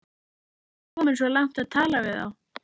Ertu kominn svo langt að tala við þá?